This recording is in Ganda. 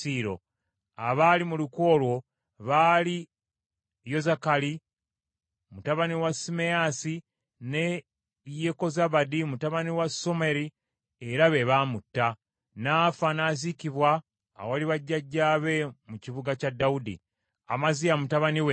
Abaali mu lukwe olwo baali Yozakali mutabani wa Simeyaasi ne Yekozabadi mutabani wa Someri, era be baamutta. N’afa n’aziikibwa awali bajjajjaabe mu kibuga kya Dawudi. Amaziya mutabani we n’amusikira.